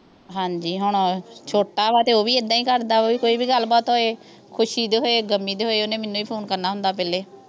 ਹਾਂਜੀ ਹੁਣ ਓਹ ਛੋਟਾ ਆ ਤੇ ਓਹ ਵੀ ਐਦਾਂ ਹੀ ਕਰਦਾ ਕੋਈ ਵੀ ਗੱਲਬਾਤ ਹੋਏ ਖੁਸ਼ੀ ਦੀ ਹੋਏ ਗਮੀ ਦੀ ਹੋਏ ਓਹਨੇ ਮੈਨੂੰ ਹੀ ਫ਼ੋਨ ਕਰਨਾ ਹੁੰਦਾ ਪਹਿਲੇ